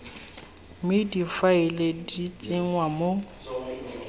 mme difaele di tsenngwa mo